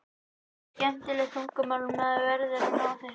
Þetta er skemmtilegt tungumál og maður verður að ná þessu.